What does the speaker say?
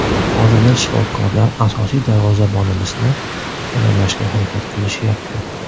Hozirda shifokorlar asosiy darvozabonimizni tayyorlashga harakat qilishyapti.